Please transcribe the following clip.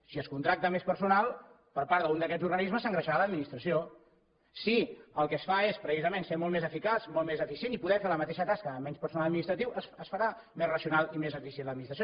si es contracta més personal per part d’un d’aquests organismes s’engreixarà l’administració si el que es fa és precisament ser molt més eficaç molt més eficient i poder fer la mateixa tasca amb menys personal administratiu es farà més racional i més eficient l’administració